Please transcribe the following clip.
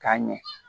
K'a ɲɛ